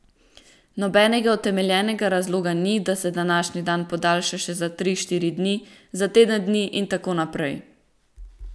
Nobenega utemeljenega razloga ni, da se današnji dan podaljša še za tri, štiri dni, za teden dni in tako naprej.